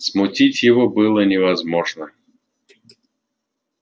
смутить его было невозможно